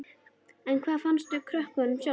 En hvað fannst krökkunum sjálfum?